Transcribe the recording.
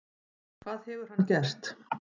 Hvað hefur hann gert?